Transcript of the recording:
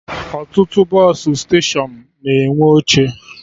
Ọtụtụ bọsụ steshọnụ na-enwe oche